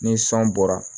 Ni san bɔra